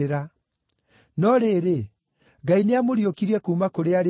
No rĩrĩ, Ngai nĩamũriũkirie kuuma kũrĩ arĩa akuũ,